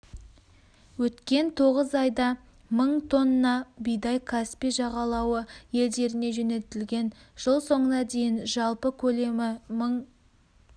өткен тоғыз айда мың тонна бидай каспий жағалауы елдеріне жөнелтілген жыл соңына дейін жалпы көлемі мың